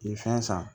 I ye fɛn san